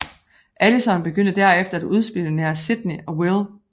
Allison begyndte derefter at udspionere Sydney og Will